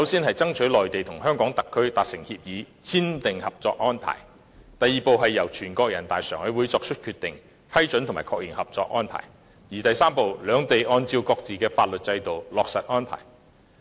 第一步，內地與香港特區達成合作安排；第二步，全國人民代表大會常務委員會作出決定，批准及確認合作安排；第三步，兩地按照各自的法律制度落實安排。